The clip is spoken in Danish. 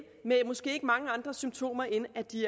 med måske ikke mange andre symptomer end at de